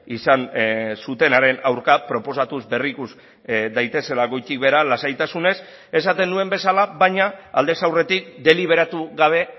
izan zutenaren aurka proposatuz berrikus daitezela goitik behera lasaitasunez esaten nuen bezala baina aldez aurretik deliberatu gabe